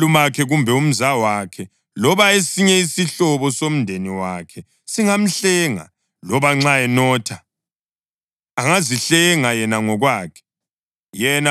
Umalumakhe kumbe umzawakhe, loba esinye isihlobo somdeni wakhe singamhlenga. Loba nxa enotha, angazihlenga yena ngokwakhe.